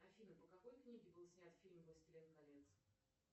афина по какой книге был снят фильм властелин колец